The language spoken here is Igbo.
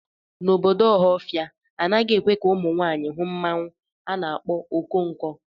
N'obodo Ọhafia, anaghị ekwe ka ụmụ nwanyị hụ mmanwu a na-akpọ Okonko.